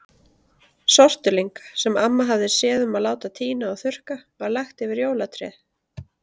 Sortulyng, sem amma hafði séð um að láta tína og þurrka, var lagt yfir jólatréð.